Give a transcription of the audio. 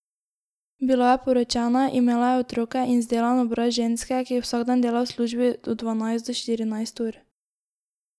Bila je poročena, imela je otroke in zdelan obraz ženske, ki vsak dan dela v službi od dvanajst do štirinajst ur.